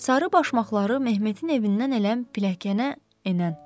Sarı başmaqları Məhmətin evindən elə pilləkənə enən.